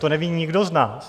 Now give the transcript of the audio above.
To neví nikdo z nás.